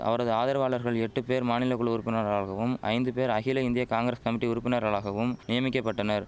அவரது ஆதரவாளர்கள் எட்டு பேர் மாநிலகுழு உறுப்பினர்களாகவும் ஐந்து பேர் அகில இந்திய காங்கிரஸ் கமிட்டி உறுப்பினர்களாகவும் நியமிக்கபட்டனர்